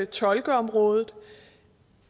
tolkeområdet